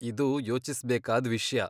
ಇದು ಯೋಚಿಸ್ಬೇಕಾದ್ ವಿಷ್ಯ.